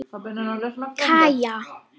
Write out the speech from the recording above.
Kaja